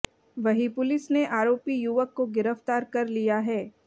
वहीं पुलिस ने आरोपी युवक को गिरफ्तार कर लिया है